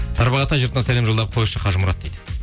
тарбағатай жұртына сәлем жолдап қойшы қажымұрат дейді